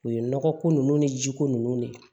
U ye nɔgɔ ko ninnu ni jiko ninnu ne